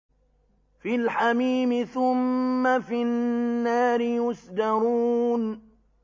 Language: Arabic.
فِي الْحَمِيمِ ثُمَّ فِي النَّارِ يُسْجَرُونَ